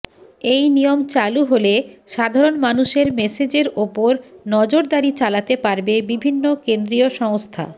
এই নিয়ম চালু হলে সাধারণ মানুষের মেসেজের ওপর নজরদারি চালাতে পারবে বিভিন্ন কেন্দ্রীয় সংস্থা